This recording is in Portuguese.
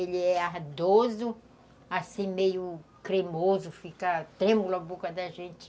Ele é ardoso, assim, meio cremoso, fica trêmula a boca da gente.